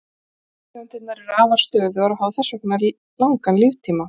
Gastegundirnar eru afar stöðugar og hafa þess vegna langan líftíma.